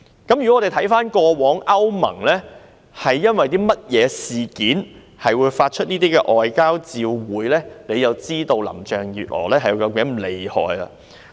只要回看過往歐盟曾經因為何事發出外交照會，便會知道林鄭月娥是如何的厲害。